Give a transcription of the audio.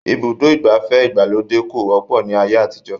Ibùdó ìgbafẹ́ ìgbàlódé kò wọ́pọ̀ ní ayé àtijọ́